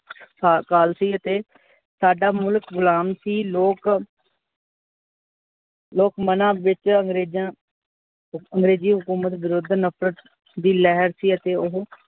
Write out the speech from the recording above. ਸੀ, ਅਤੇ ਸਾਡਾ ਮੁਲਖ ਗੁਲਾਮ ਸੀ ਲੋਕ ਲੋਕ ਮਨਾ ਵਿੱਚ ਅੰਗਰੇਜਾਂ ਅੰਗ੍ਰੇਜੀ ਹਕੂਮਤ ਵਿਰੁੱਧ ਨਫ਼ਰਤ ਦੀ ਲਿਹਰ ਸੀ, ਅਤੇ ਓਹੋ